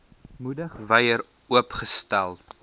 moedig wyer oopstel